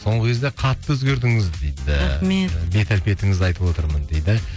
соңғы кезде қатты өзгердіңіз дейді рахмет бет әлпетіңізді айтып отырмын дейді